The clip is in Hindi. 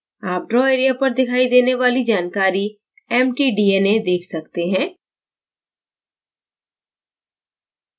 आप draw area पर दिखाई देने वाली जानकारी mt: dna देख सकते हैं